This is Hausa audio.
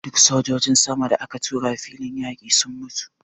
Duk sojojin sama da aka tura filin yaƙi sun mutu.